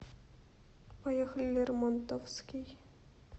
поехали лермонтовский